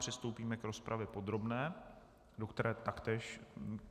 Přistoupíme k rozpravě podrobné, do které taktéž...